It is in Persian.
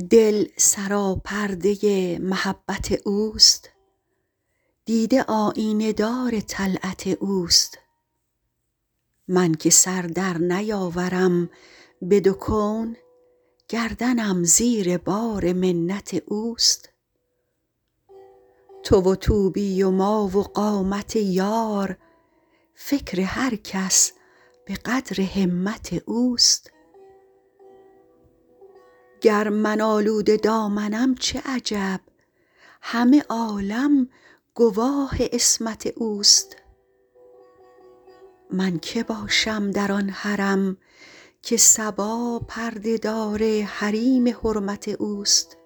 دل سراپرده محبت اوست دیده آیینه دار طلعت اوست من که سر در نیاورم به دو کون گردنم زیر بار منت اوست تو و طوبی و ما و قامت یار فکر هر کس به قدر همت اوست گر من آلوده دامنم چه عجب همه عالم گواه عصمت اوست من که باشم در آن حرم که صبا پرده دار حریم حرمت اوست